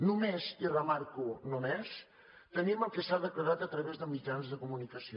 només i remarco només tenim el que s’ha declarat a través de mitjans de comunicació